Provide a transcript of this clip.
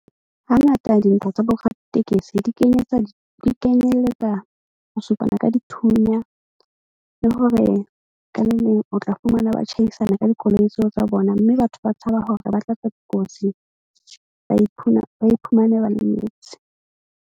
Hangata dintho tsa bo raditekesi di kenyetsa di kenyelletsa ho supana ka dithunya, le hore ka le leng o tla fumana ba tjhaisana ka dikoloi tseo tsa bona. Mme batho ba tshaba hore ba tla tswa dikotsi, ba ba iphumane ba lemetse.